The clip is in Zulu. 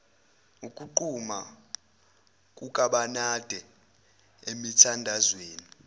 ukuquma kukabenade emithandazweni